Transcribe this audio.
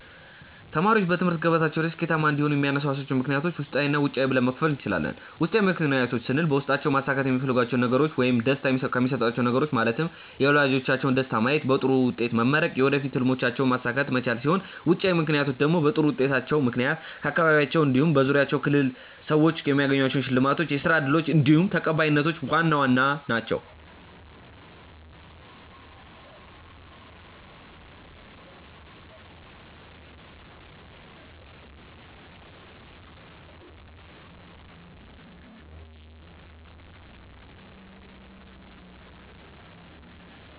ተማሪዎች በትምህርት ገበታቸው ላይ ስኬታማ እንዲሆኑ የሚያነሳሷቸውን ምክንያቶች ውስጣዊ እና ውጫዊ ብለን መክፈል እንችላለን። ውስጣዊ ምክንያቶች ስንል ተማሪዎች በውስጣቸው ማሳካት የሚፈልጓቸውን ነገሮች ውይም ደስታ የሚሰጧቹው ነገሮች ማለትም የወላጆቻቸውን ደስታ ማየት፣ በጥሩ ውጤት መመረቅ፣ የወደፊት ህልሞቻቸውንም ማሳካት መቻል ሲሆኑ ውጫዊ ምክንያቶቻቸው ደግሞ በጥሩ ውጤታቸው ምክንያት ከአካባቢያቸው እንዲሁም በዙሪያቸው ክልል ሰዎች የሚያገኟቸው ሽልማቶች፣ የስራ እድሎች እንዲሁም ተቀባይነቶች ዋና ዋናዎቹ ናችው።